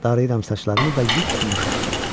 Darayıram saçlarımı və yupyumuşaq.